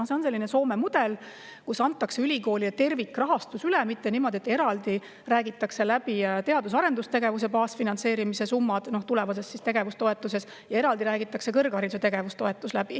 See on selline Soome mudel, kus antakse ülikoolile üle tervikrahastus, mitte niimoodi, et räägitakse läbi teadus- ja arendustegevuse baasfinantseerimise – tulevase tegevustoetuse – summad ja eraldi räägitakse läbi kõrghariduse tegevustoetus.